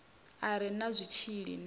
a re na zwitshili a